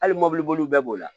Hali mɔbili bolila bɛɛ b'o la